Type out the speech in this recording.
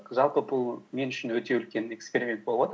жалпы бұл мен үшін өте үлкен эксперимент болып отыр